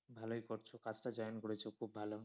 ভালোই করছো, কাজটা join করেছো খুব ভালো।